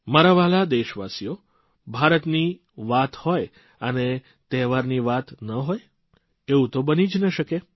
મારા વ્હાલા દેશવાસીઓ ભારતની વાત હોય અને તહેવારની વાત ન હોય એવું તો બની જ ન શકે